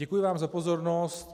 Děkuji vám za pozornost.